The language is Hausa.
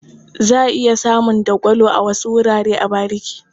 Za a iya samun dagwalo a wasu wurare a bariki.